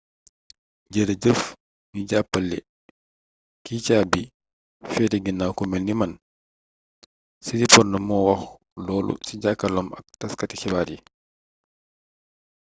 "jërëjëf ñi jàppale ki caabi feete ginnawam ku melni man siriporn moo wax loolu ci jàkkarloom ak taskati xibaar yi